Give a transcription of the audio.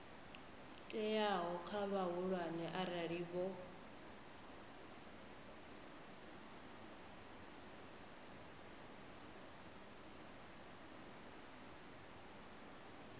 teaho kha vhahulwane arali vho